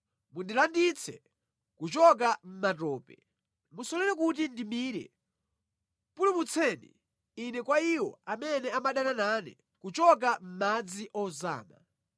Mundilanditse kuchoka mʼmatope, musalole kuti ndimire, pulumutseni ine kwa iwo amene amadana nane, kuchoka mʼmadzi ozama.